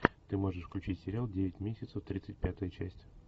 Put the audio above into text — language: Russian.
ты можешь включить сериал девять месяцев тридцать пятая часть